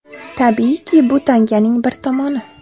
Tabiiyki, bu tanganing bir tomoni.